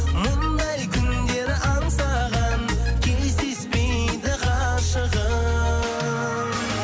мұндай күндер аңсаған кездеспейді ғашығым